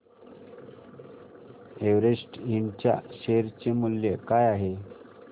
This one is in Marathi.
एव्हरेस्ट इंड च्या शेअर चे मूल्य काय आहे